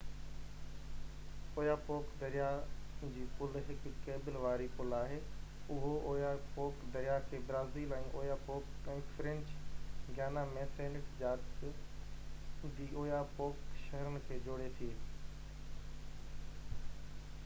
Oyapock دريا جي پل هڪ ڪيبل واري پل آهي اهو اويا پوڪ دريا کي Brazil ۾ Oyapock ۽ French Guiana ۾ Saint Georges de Oyapock شهرن کي جوڙي ٿي